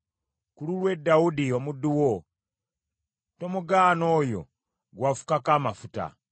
Ku lulwe Dawudi omuddu wo, tomugaana oyo gwe wafukako amafuta.